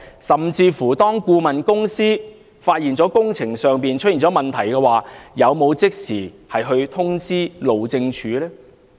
甚至當顧問公司發現工程出現問題，有否即時通知路政署呢？